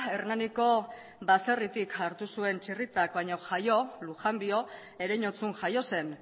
hernaniko baserritik hartu zuen txirritak baino jaio lujambio ereñotzun jaio zen